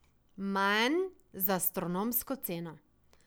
Manj z astronomsko ceno.